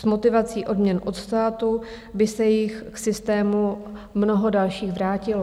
S motivací odměn od státu by se jich k systému mnoho dalších vrátilo.